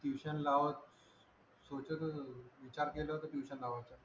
tuition लावा विचार केला होताट्यूशन लावायचा